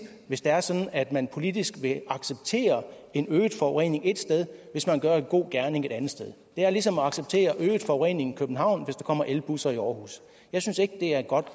hvis det er sådan at man politisk vil acceptere en øget forurening et sted hvis man gør en god gerning et andet sted det er ligesom at acceptere øget forurening i københavn hvis der kommer elbusser i aarhus jeg synes ikke det er et godt